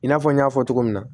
I n'a fɔ n y'a fɔ cogo min na